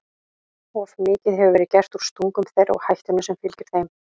Of mikið hefur verið gert úr stungum þeirra og hættunni sem fylgir þeim.